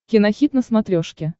кинохит на смотрешке